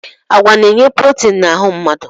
Agwa na-enye protin na ahụ mmadụ.